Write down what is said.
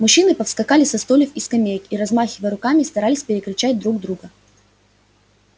мужчины повскакали со стульев и скамеек и размахивая руками старались перекричать друг друга